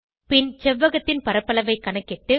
பின் செவ்வகத்தின் பரப்பளவை கணக்கிட்டு